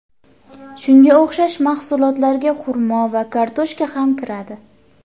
Shunga o‘xshash mahsulotlarga xurmo va kartoshka ham kiradi.